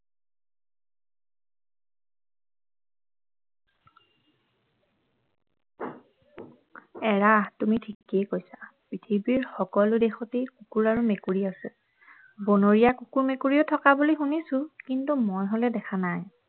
এৰা তুমি ঠিকেই কৈছা পৃথিৱীৰ সকলো দেশতেই কুকুৰ আৰু মেকুৰী আছে বনৰীয়া কুকুৰ মেকুৰীও থকা বুলি শুনিছোঁ কিন্তু মই হলে দেখা নাই